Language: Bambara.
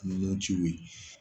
Nun ciw ye